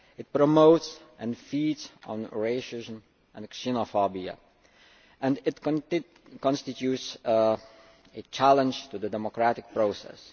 It promotes and feeds on racism and xenophobia and it constitutes a challenge to the democratic process.